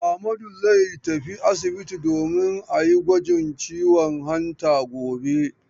Ahmadu zai tafi asibiti domin a yi gwajin ciwon hanta gobe.